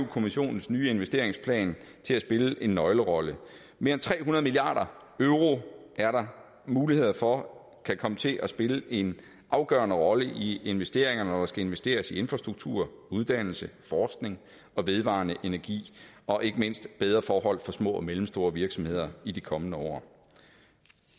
kommissionens nye investeringsplan til at spille en nøglerolle mere end tre hundrede milliard euro er der mulighed for kan komme til at spille en afgørende rolle i investeringerne når der skal investeres i infrastruktur uddannelse forskning vedvarende energi og ikke mindst bedre forhold for små og mellemstore virksomheder i de kommende år